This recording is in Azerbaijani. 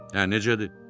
Hə, necədir?